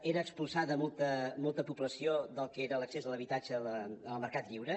era expulsada molta població del que era l’accés a l’habitatge en el mercat lliure